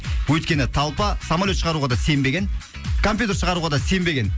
өйткені толпа самолет шығаруға да сенбеген компьютер шығаруға да сенбеген